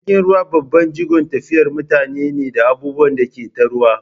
Jirgin ruwa babban jigon tafiyar mutane ne da abubuwan da ke ta ruwa.